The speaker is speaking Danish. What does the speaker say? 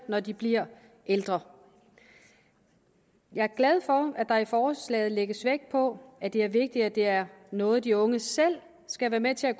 når de bliver ældre jeg er glad for at der i forslaget lægges vægt på at det er vigtigt at det er noget de unge selv skal være med til at